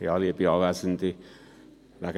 Das Wort hat Grossrat Löffel.